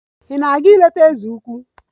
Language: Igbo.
Ị na-aga ileta eze ukwu?